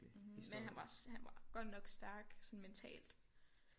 Mhm man han var også han var godt nok stærk sådan mentalt